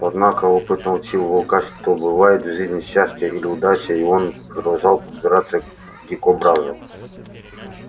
однако опыт научил волка что бывает в жизни счастье или удача и он продолжал подбираться к дикобразу